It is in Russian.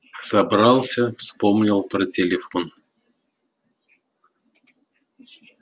собрался вспомнил про телефон